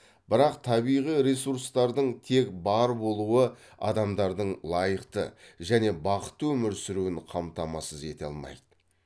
бірақ табиғи ресурстардың тек бар болуы адамдардың лайықты және бақытты өмір сүруін қамтамасыз ете алмайды